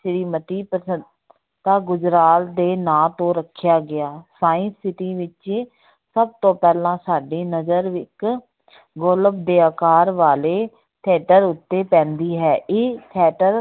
ਸ੍ਰੀ ਮਤੀ ਤਾਂ ਗੁਜਰਾਲ ਦੇ ਨਾਂ ਤੋਂ ਰੱਖਿਆ ਗਿਆ science city ਵਿੱਚ ਸਭ ਤੋਂ ਪਹਿਲਾਂ ਸਾਡੀ ਨਜਰ ਇੱਕ ਗੋਲਬ ਦੇ ਆਕਾਰ ਵਾਲੇ theater ਉੱਤੇ ਪੈਂਦੀ ਹੈ, ਇਹ theater